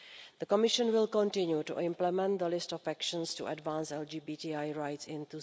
The Commission will continue to implement the list of actions to advance LGBTI rights in